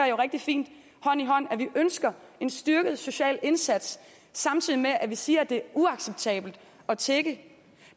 jo rigtig fint hånd i hånd at vi ønsker en styrket social indsats samtidig med at vi siger at det er uacceptabelt at tigge det